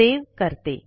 save करते